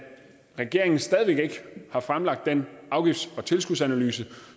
regeringen stadig væk ikke har fremlagt den afgifts og tilskudsanalyse